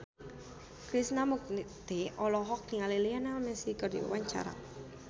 Krishna Mukti olohok ningali Lionel Messi keur diwawancara